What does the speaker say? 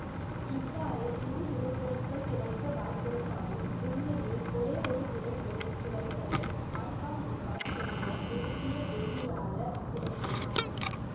இவ்வாறு இரு விளைபொருட்கள் கிடைக்க வாய்ப்பிருந்தாலும் உண்மையில் ஒரே ஒரு விளைபொருள் கிடைப்பதை மார்க்காவ்னிகாவ் என்ற உருசிய வேதியியலாளர் விளக்கினார்